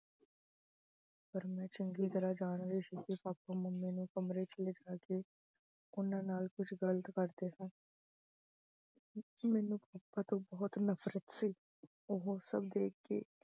ਪਰ ਮੈਂ ਚੰਗੀ ਤਰ੍ਹਾਂ ਜਾਣ ਗਈ ਸੀ ਕਿ papa mummy ਨੂੰ ਕਮਰੇ ਚ ਲਿਜਾ ਕੇ ਉਹਨਾਂ ਨਾਲ ਕੁੱਝ ਗਲਤ ਕਰਦੇ ਸਨ ਮੈਨੂੰ papa ਤੋਂ ਬਹੁਤ ਨਫ਼ਰਤ ਸੀ, ਉਹੋ ਸਭ ਦੇਖ ਕੇ